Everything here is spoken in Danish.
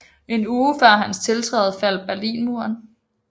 En uge før hans tiltræden faldt Berlinmuren